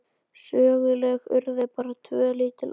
Söguleg urðu bara tvö lítil atvik.